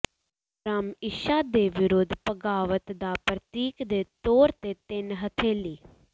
ਬ੍ਰਹਮ ਇੱਛਾ ਦੇ ਵਿਰੁੱਧ ਬਗਾਵਤ ਦਾ ਪ੍ਰਤੀਕ ਦੇ ਤੌਰ ਤੇ ਤਿੰਨ ਹਥੇਲੀ